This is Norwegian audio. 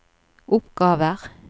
oppgaver